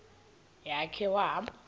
ya khe wahamba